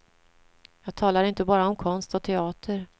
Jag talar inte bara om konst och teater.